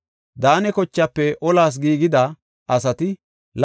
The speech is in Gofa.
Daane kochaafe olas giigida asati 28,600.